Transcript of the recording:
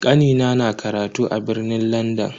Kanina na karatu a birnin Landan.